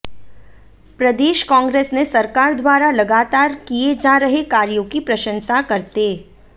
प्रदेश कांग्रेस ने सरकार द्वारा लगातार किए जा रहे कार्यों की प्रशंसा करते